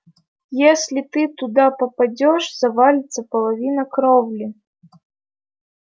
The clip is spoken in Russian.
если ты туда попадёшь завалится половина кровли